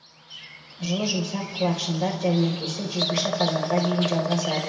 жылы жұмсақ құлақшындар жәрмеңкесі жетінші қазанға дейін жалғасады